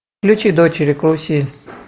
включи дочери карусель